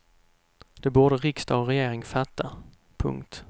Det borde riksdag och regering fatta. punkt